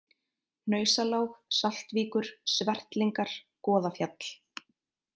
Hnausalág, Saltvíkur, Svertlingar, Goðafjall